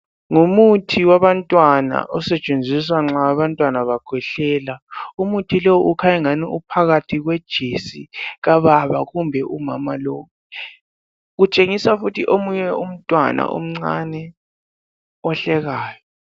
Ngumuthi wabantwana osetshenziswa nxa abantwana bekhwehlela. Umuthi ukhanya ngani uphakathi kwe jesi kababa kumbe umama lo. Kutshengisa futhi omunye umntwana omncane ohlekayo.